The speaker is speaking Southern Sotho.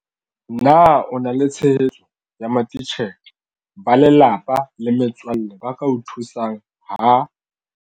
Na o na le tshehetso ya matitjhere, ba lelapa le metswalle ba ka o thusang ha.